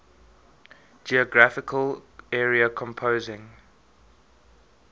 geographical area composing